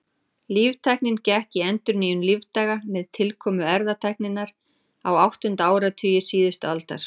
Líftæknin gekk í endurnýjun lífdaga með tilkomu erfðatækninnar á áttunda áratugi síðustu aldar.